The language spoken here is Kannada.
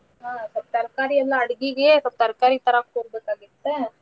ಹಾ ಸ್ವಲ್ಪ ತರ್ಕಾರಿ ಎಲ್ಲಾ ಅಡ್ಗಿಗೆ ಸ್ವಲ್ಪ ತರ್ಕಾರಿ ತರಾಕ್ ಹೋಗ್ಬೇಕಾಗಿತ್ತ.